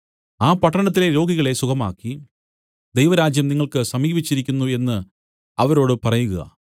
ആ പട്ടണത്തിലെ രോഗികളെ സുഖമാക്കി ദൈവരാജ്യം നിങ്ങൾക്ക് സമീപിച്ചിരിക്കുന്നു എന്നു അവരോട് പറയുക